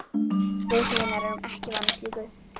Við hinar erum ekki vanar slíku.